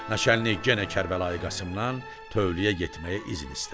Naçallnik yenə Kərbəlayi Qasımdan tövləyə getməyə izin istədi.